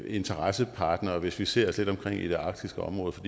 interessepartnere hvis vi ser os lidt omkring i det arktiske område for